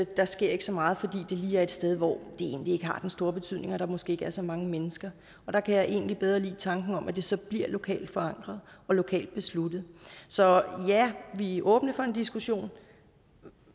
der sker ikke så meget fordi det lige er et sted hvor det egentlig ikke har den store betydning og hvor der måske ikke er så mange mennesker der kan jeg egentlig bedre lide tanken om at det så bliver lokalt forankret og lokalt besluttet så ja vi er åbne for en diskussion